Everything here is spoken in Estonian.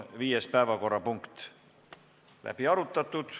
Viies päevakorrapunkt on läbi arutatud.